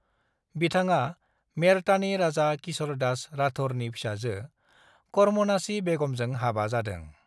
बिथाङा मेड़तानि राजा किश'र दास राठौरनि फिसाजो करमनासी बेगमजों हाबा जादों।